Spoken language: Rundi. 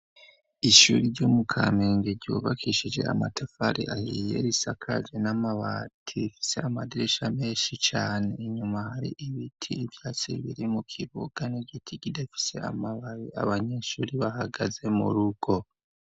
Ishuri ryomu Kamenge ryubakishije amatafari ahiye risakaje n'amabati, ifise amadirisha menshi cane inyuma hari ibiti, ivyatsi biri mu kibuga n'igiti gidafise amabari abanyeshuri bahagaze murugo.